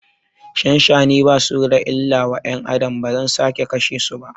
Shanshani basu da illa wa ƴan Adam, bazan sake kashe su ba